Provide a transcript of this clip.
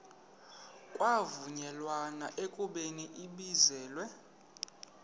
kwavunyelwana ekubeni ibizelwe